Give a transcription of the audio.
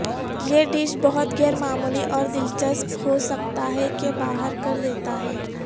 یہ ڈش بہت غیر معمولی اور دلچسپ ہو سکتا ہے کہ باہر کر دیتا ہے